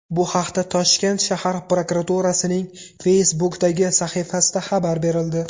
Bu haqda Toshkent shahar prokuraturasining Facebook’dagi sahifasida xabar berildi .